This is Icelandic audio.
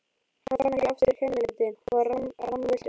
Hann fann ekki aftur kennileitin og var rammvilltur.